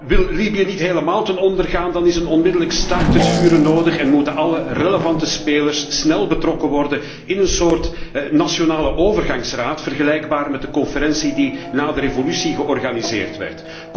Wil Libië niet helemaal ten onder gaan, dan is een onmiddellijk staakt het vuren nodig en moeten alle relevante spelers snel betrokken worden in een soort nationale overgangsraad, vergelijkbaar met de conferentie die na de revolutie georganiseerd werd.